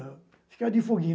Ficava de foguinho.